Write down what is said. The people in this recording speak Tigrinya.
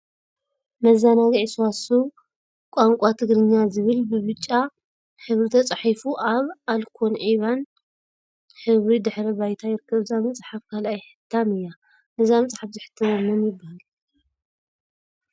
መዘናግዒ ስዋስው ወቋ ትግርኛ ዝብል ብብጫ ሕብሪ ተፃሒፉ አብ አልኮን ዒባን ሕብሪ ድሕረ ባይታ ይርከብ፡፡ እዛ መፅሓፍ ካልአይ ሕታም እያ፡፡ ነዛ መፅሓፍ ዘሐተመ መን ይበሃል?